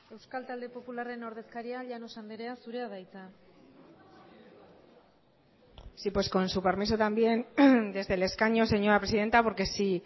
euskal talde popularraren ordezkaria llanos andrea zurea da hitza sí pues con su permiso también desde el escaño señora presidenta porque si